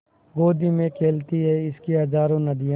गोदी में खेलती हैं इसकी हज़ारों नदियाँ